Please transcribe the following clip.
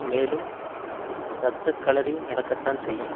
மேலும் இரத்த களரி நடக்கத்தான் செய்யும்